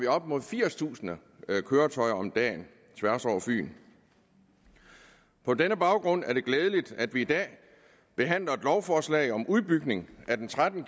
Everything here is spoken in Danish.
op imod firstusind køretøjer om dagen tværs over fyn på denne baggrund er det glædeligt at vi i dag behandler et lovforslag om en udbygning af den tretten